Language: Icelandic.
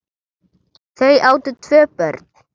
Þau áttu tvö börn.